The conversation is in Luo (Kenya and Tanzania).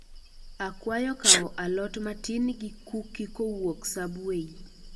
Akwayo kawo alot matin gi kuki kowuok subway